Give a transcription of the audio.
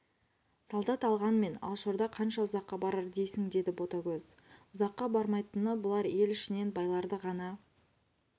солдат алғанмен алашорда қанша ұзаққа барар дейсің деді ботагөз ұзаққа бармайтыны бұлар ел ішінен байларды ғана